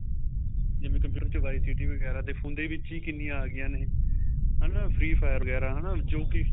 ਜਿਵੇਂ computer ਚ visit ਵਗੈਰਾ ਤੇ phone ਦੇ ਵਿੱਚ ਹੀ ਕਿੰਨੀਆਂ ਆ ਗਈਆਂ ਨੇ ਹਨਾ free fire ਵਗੈਰਾ ਹਨਾ ਜੋ ਕੀ